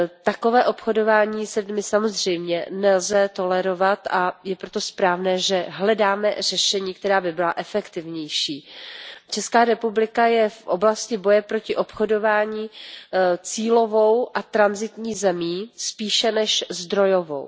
Takové obchodování s lidmi samozřejmě nelze tolerovat, a je proto správné, že hledáme řešení, která by byla efektivnější. ČR je v oblasti boje proti obchodování cílovou a tranzitní zemí spíše než zdrojovou.